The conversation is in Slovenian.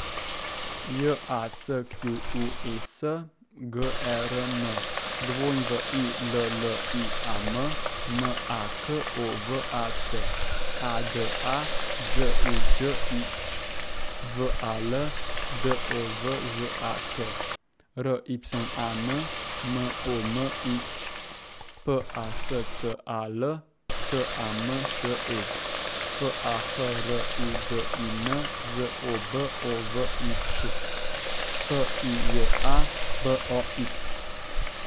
J A C Q U E S, G E R M; W I L L I A M, M A K O V A C; A D A, Đ U Đ I Ć; V A L, D O V Ž A K; R Y A N, M O M I Ć; P A S C A L, T A M Š E; F A H R U D I N, Z O B O V I Č; P I J A, B O X.